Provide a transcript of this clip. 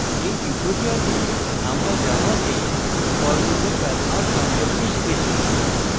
in tutorial আমরা জাভাতে for লুপের ব্যবহার সম্পর্কে শিখেছি